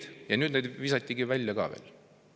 – ja nüüd neid visati välja ka veel.